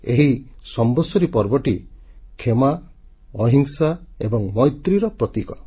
ଏହି ସମ୍ବତ୍ସରୀ ପର୍ବଟି କ୍ଷମା ଅହିଂସା ଏବଂ ମୈତ୍ରୀର ପ୍ରତୀକ